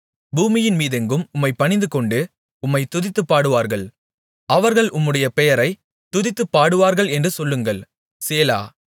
பூமியின் மீதெங்கும் உம்மைப் பணிந்துகொண்டு உம்மைத் துதித்துப் பாடுவார்கள் அவர்கள் உம்முடைய பெயரைத் துதித்துப் பாடுவார்கள் என்று சொல்லுங்கள் சேலா